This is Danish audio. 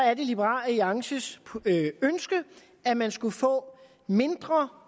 er det liberal alliances ønske at man skulle få mindre